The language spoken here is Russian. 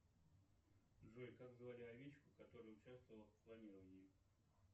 джой как звали овечку которая участвовала в клонировании